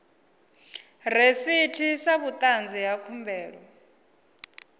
rasiti sa vhuṱanzi ha khumbelo